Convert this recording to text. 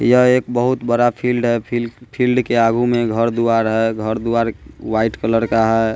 यह एक बहुत बड़ा फील्ड है फील फील्ड के आगू में घर द्वार है घर द्वार व्हाइट कलर का है।